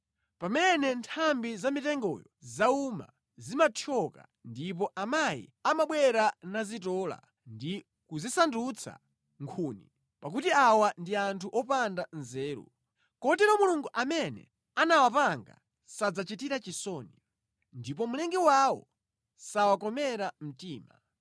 Pamene nthambi za mitengoyo zauma, zimathyoka ndipo amayi amabwera nazitola ndi kuzisandutsa nkhuni. Pakuti awa ndi anthu opanda nzeru; kotero Mulungu amene anawapanga sadzachitira chisoni, ndipo Mlengi wawo sawakomera mtima.